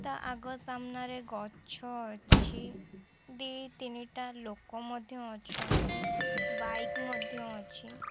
ତା ଆଗ ସାମ୍ନାରେ ଗଛ ଅଛି ଦି ତିନି ଟା ଲୋକ ମଧ୍ୟ ଅଛନ୍ତି ବାଇକ୍ ମଧ୍ୟ ଅଛି।